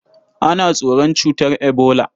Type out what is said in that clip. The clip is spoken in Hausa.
Ana tsoron cutar ebola.